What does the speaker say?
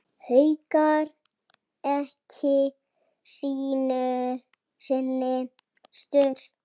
Haukur: Ekki einu sinni stundum?